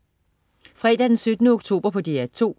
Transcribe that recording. Fredag den 17. oktober - DR 2: